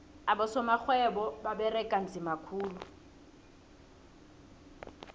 abosorhwebo baberega nzima khulu